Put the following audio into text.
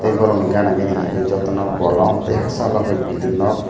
tei borok ni gana gini hingke jotono bolong tei hachalo ke bilding nog.